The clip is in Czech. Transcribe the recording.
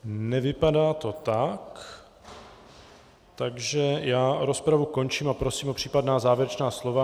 Nevypadá to tak, takže já rozpravu končím a prosím o případná závěrečná slova.